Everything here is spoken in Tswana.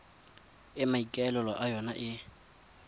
e maikaelelo a yona e